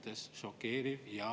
Palun võtta seisukoht ja hääletada!